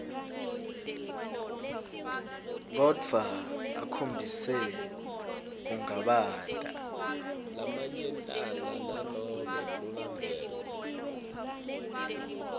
kodvwa akhombise kungabata